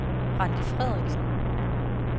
Randi Frederiksen